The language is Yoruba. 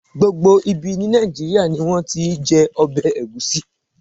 Gbogbo ibi ní Nàìjíríà ni wón ti ń jẹ ọbẹ̀ Ẹ̀gúsí.